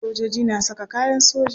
Sojoji na saka kayan soja.